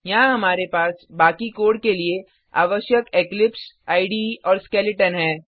यहाँ हमारे पास बाकी कोड के लिए आवश्यक इक्लिप्स इडे और स्केलेटन है